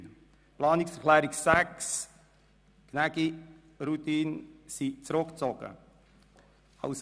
Die Planungserklärung 6 Gnägi/Rudin ist zurückgezogen worden.